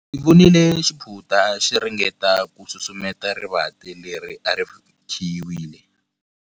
Ndzi vonile xiphunta xi ringeta ku susumeta rivanti leri a ri khiyiwile.